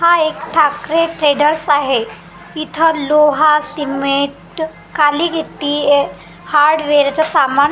हा एक ठाकरे ट्रेडर्स आहे इथं लोहा सिमेंट काळी गिट्टी हार्डवेअरच सामान --